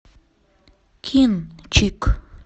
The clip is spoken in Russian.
кинчик